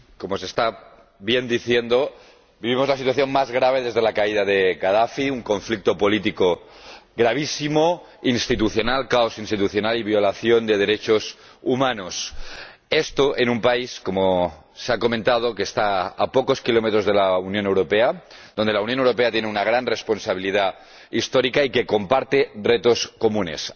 Señor Presidente, como bien se está diciendo, vivimos la situación más grave desde la caída de Gadafi un conflicto político gravísimo, caos institucional y violación de derechos humanos. Esto en un país, como se ha comentado, que está a pocos kilómetros de la Unión Europea, en el que la Unión Europea tiene una gran responsabilidad histórica y con el que comparte retos comunes.